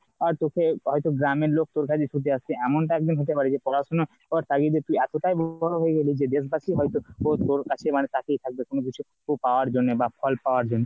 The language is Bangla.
আহ তোকে ওই হয়তো গ্রামের লোক তোর কাছে ছুটে আসবে। এমনটা একদিন হতে পারে যে পড়াশোনার করার তাগিদে যে তুই এতটাই বড়ো হয়ে গেলি যে দেশ বাসি হয়তো তোর তোর কাছে মানে তাকিয়ে থাকবে কোনো কিছু পাওয়ার জন্যে বা ফল পাওয়ার জন্যে।